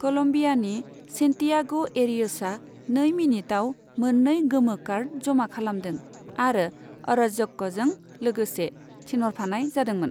कलमबियानि सेनटियाग' एरियसआ नै मिनिटाव मोननै गोमो कार्ड जमा खालमादों आरो अर'ज्क'जों लोगोसे थिनहरफानाय जादोंमोन।